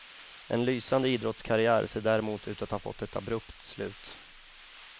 En lysande idrottskarriär ser därmed ut att ha fått ett abrupt slut.